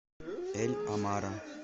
эль амара